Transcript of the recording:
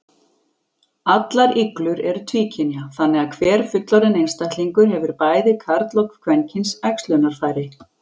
Allar iglur eru tvíkynja, þannig að hver fullorðinn einstaklingur hefur bæði karl- og kvenkyns æxlunarfæri.